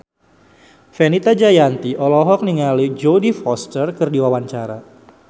Fenita Jayanti olohok ningali Jodie Foster keur diwawancara